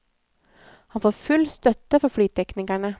Han får full støtte fra flyteknikerne.